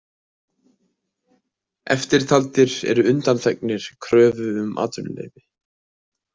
Eftirtaldir eru undanþegnir kröfu um atvinnuleyfi